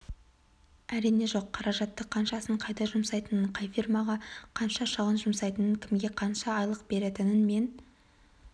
әрине жоқ қаражатты қаншасын қайда жұмсайтынын қай фирмаға қанша шығын жұмсайтынын кімге қанша айлық беретінін мен